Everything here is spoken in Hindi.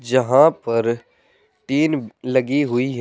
यहां पर टीन लगी हुई है।